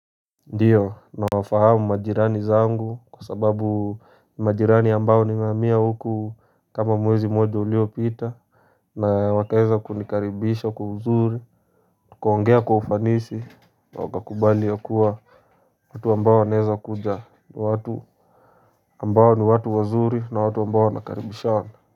Ndiyo nawafahamu majirani zangu kwa sababu majirani ambao nimehamia huku kama mwezi mmoja uliopita. Na wakaweza kunikaribisha kwa uzuri. Tukaongea kwa ufanisi na wakakubali ya kuwa watu ambao wanawezakuja. Watu ambao ni watu wazuri na watu ambao wanakaribishana.